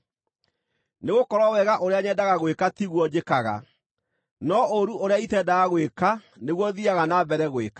Nĩgũkorwo wega ũrĩa nyendaga gwĩka tiguo njĩkaga, no ũũru ũrĩa itendaga gwĩka nĩguo thiiaga na mbere gwĩka.